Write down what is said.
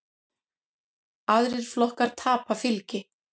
Aðrir flokkar tapa fylgi.